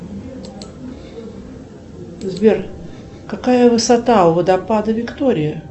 сбер какая высота у водопада виктория